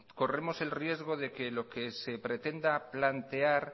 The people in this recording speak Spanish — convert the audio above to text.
corremos el riesgo de que lo que se pretenda plantear